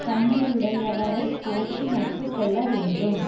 தன்மையுடையவரை போற்றி நட்பு கொள்ள வேண்டும்